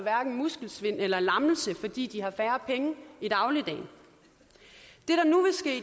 muskelsvind eller lammelse fordi de har færre penge i dagligdagen